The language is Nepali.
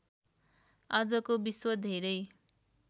आजको विश्व धेरै